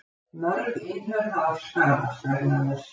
Mörg innhöf hafa skaðast vegna þess.